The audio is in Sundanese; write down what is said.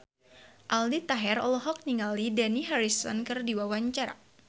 Aldi Taher olohok ningali Dani Harrison keur diwawancara